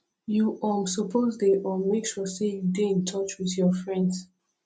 you um suppose dey um make sure sey you dey in touch wit your friends